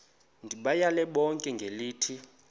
ndibayale bonke ngelithi